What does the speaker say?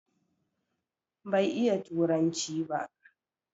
Bai iya turanci ba